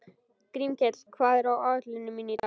Grímkell, hvað er á áætluninni minni í dag?